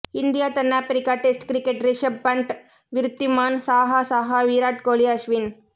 India தென்னாப்பிரிக்கா test cricket Rishabh Pant Wriddhiman Saha Saha Virat Kohli Ashwin